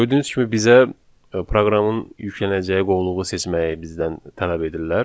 Gördüyünüz kimi bizə proqramın yüklənəcəyi qovluğu seçməyi bizdən tələb edirlər.